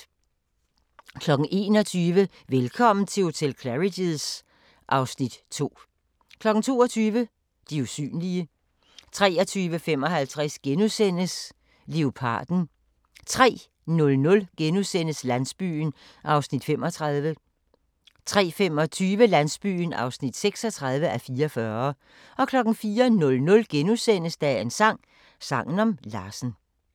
21:00: Velkommen til hotel Claridge's (Afs. 2) 22:00: De usynlige 23:55: Leoparden * 03:00: Landsbyen (35:44)* 03:25: Landsbyen (36:44) 04:00: Dagens sang: Sangen om Larsen *